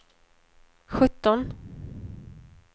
sjutton